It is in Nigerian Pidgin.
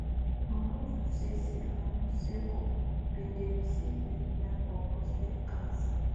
mobutu sese um seko bin dey recieve treatment for prostate cancer